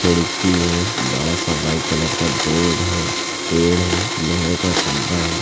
खिड़की है बड़ा सा व्हाइट कलर का बोर्ड है पेड़ हैं लोहे का खंबा है।